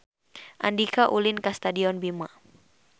Andika ulin ka Stadion Bima